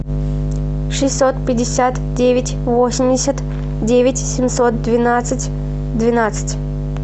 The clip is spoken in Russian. шестьсот пятьдесят девять восемьдесят девять семьсот двенадцать двенадцать